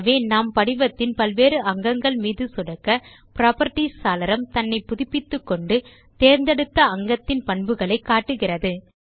ஆகவே நாம் படிவத்தின் பல் வேறு அங்கங்கள் மீது சொடுக்க புராப்பர்ட்டீஸ் சாளரம் தன்னை புதுப்பித்துக்கொண்டு தேர்ந்தெடுத்த அங்கத்தின் பண்புகளை காட்டுகிறது